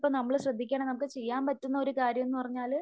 ഇപ്പോ നമ്മള് ശ്രദ്ധിക്കണം നമുക്ക് ചെയ്യാൻ പറ്റുന്ന ഒരു കാര്യം എന്ന് പറഞ്ഞാല്